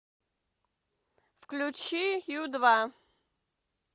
включи ю два